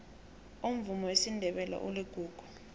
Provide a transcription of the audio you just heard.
umvumo wesindebele uligugu